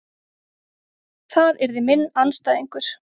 Það yrði minn andstæðingur.